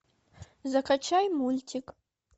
закачай мультик